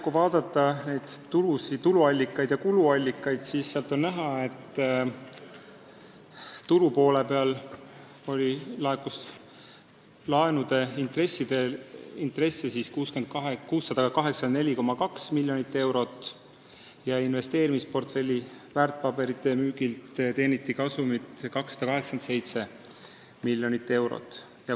Kui vaadata neid tuluallikaid ja kuluallikaid, siis on näha, et tulupoolele laekus laenude intresse 684,2 miljonit eurot ja investeerimisportfelli väärtpaberite müügilt teeniti kasumit 287 miljonit eurot.